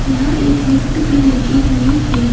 यहां एक लिफ्ट भी लगी हुई है।